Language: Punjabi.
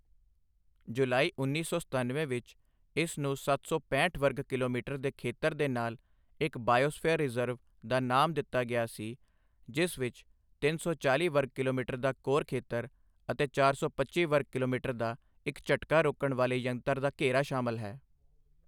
ਜੁਲਾਈ ਉੱਨੀ ਸੌ ਸਤੱਨਵੇਂ ਵਿੱਚ ਇਸ ਨੂੰ ਸੱਤ ਸੌ ਪੈਂਹਠ ਵਰਗ ਕਿਲੋਮੀਟਰ ਦੇ ਖੇਤਰ ਦੇ ਨਾਲ ਇੱਕ ਬਾਇਓਸਫੀਅਰ ਰਿਜ਼ਰਵ ਦਾ ਨਾਮ ਦਿੱਤਾ ਗਿਆ ਸੀ, ਜਿਸ ਵਿੱਚ ਤਿੰਨ ਸੌ ਚਾਲ਼ੀ ਵਰਗ ਕਿਲੋਮੀਟਰ ਦਾ ਕੋਰ ਖੇਤਰ ਅਤੇ ਚਾਰ ਸੌ ਪੱਚੀ ਵਰਗ ਕਿਲੋਮੀਟਰ ਦਾ ਇੱਕ ਝਟਕਾ ਰੋਕਣ ਵਾਲੇ ਯੰਤਰ ਦਾ ਘੇਰਾ ਸ਼ਾਮਲ ਹੈ।